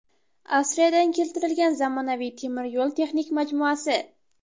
Avstriyadan keltirilgan zamonaviy temir yo‘l texnik majmuasi.